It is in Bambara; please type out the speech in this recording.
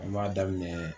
An b'a daminɛ